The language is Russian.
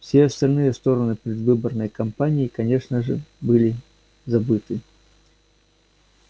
все остальные стороны предвыборной кампании конечно же были забыты